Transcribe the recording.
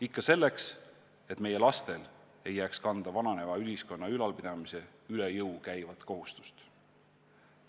Ikka selleks, et meie lastele ei jääks kanda vananeva ühiskonna ülalpidamise üle jõu käivat kohustust.